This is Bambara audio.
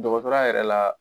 Dɔgɔtɔrɔya yɛrɛ la